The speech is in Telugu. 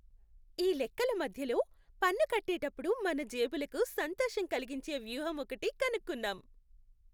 ఈ లెక్కల మధ్యలో, పన్ను కట్టేటప్పుడు మన జేబులకు సంతోషం కలిగించే వ్యూహం ఒకటి కనుక్కున్నాం!